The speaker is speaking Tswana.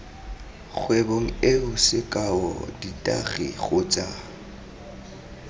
kgwebong eo sekao ditagi kgotsa